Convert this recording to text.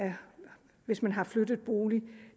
hvis et medlem har flyttet bolig